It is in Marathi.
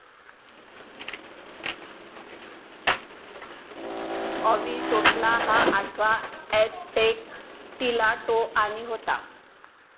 अविसोटला हा आठवा ऍसटेक टिलाटोआनी होता.